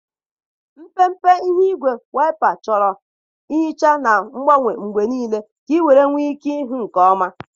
Mpempe ihe ígwè waịpa chọrọ nhicha na ngbanwe mgbe niile ka ị wee nwee ike ịhụ nke ọma.